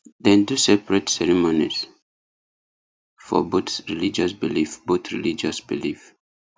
dem do separate ceremonies for both religious belief both religious belief